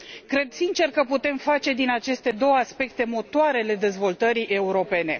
Cred sincer că putem face din aceste două aspecte motoarele dezvoltării europene.